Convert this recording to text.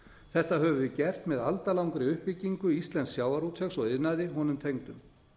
þetta höfum við gert með aldalangri uppbyggingu íslensks sjávarútvegs og iðnaði honum tengdum